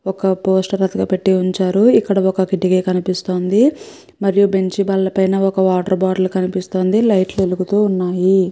ఒక పోస్టర్ ఇక్కడ పెట్టి ఉంచారు ఇక్కడ ఒక కిటికీ కనిపిస్తుంది మరియు బెంచి బల్ల పైన ఒక వాటర్ బాటిల్ పెట్టి ఉంచారు లైట్లు వెలుగుతున్నవి.